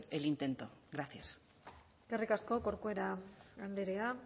el intento gracias eskerrik asko corcuera andrea